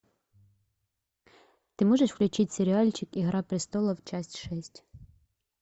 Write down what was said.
ты можешь включить сериальчик игра престолов часть шесть